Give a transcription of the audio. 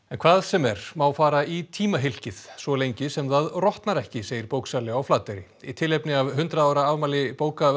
hvað sem er má fara í svo lengi sem það rotnar ekki segir bóksali á Flateyri í tilefni af hundrað ára afmæli